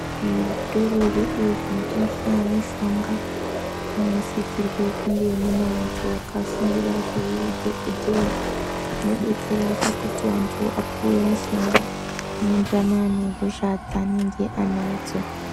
Zvitoro zvedu zvinotengesa mushonga zvinosisirwe kunge mune antu akafundire zveudhokodheya zvinodetsera pakuti antu apuwe mishonga inoenderana nehosha dzanenge anadzo.